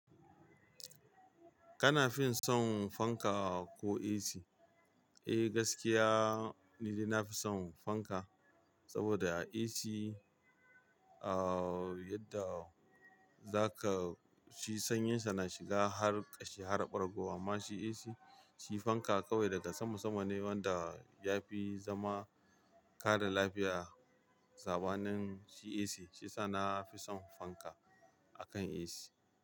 Kana fin son fanka ko AC? Eh gaskiya ni na fi son fanka saboda AC, yadda za ka ji sanyinsa na shiga har ƙashi har ɓargo amma shi AC. Shi fanka kawai daga sama sama ne wanda ya fi zama kare lafiya sabanin shi AC. Shiyasa na fi son fanka akan AC.